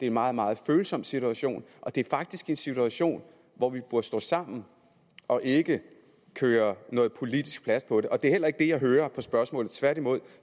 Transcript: en meget meget følsom situation og det er faktisk en situation hvor vi burde stå sammen og ikke køre noget politisk plat på det det er heller ikke det jeg hører på spørgsmålet tværtimod